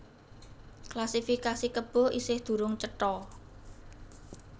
Klasifikasi kebo isih durung cetha